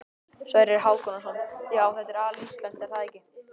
Sverrir Hákonarson: Já, þetta er alíslenskt er það ekki?